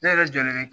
Ne yɛrɛ jɔlen be